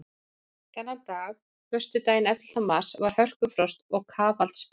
Þennan dag, föstudaginn ellefta mars, var hörkufrost og kafaldsbylur.